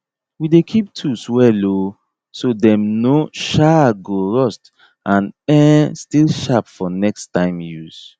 we dey keep tools well um so dem no um go rust and um still sharp for next time use